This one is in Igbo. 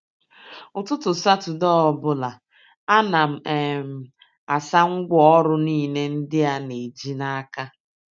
Ụtụtụ Satọde ọbụla, ana m um asa ngwa ọrụ niile ndị a na-eji n'aka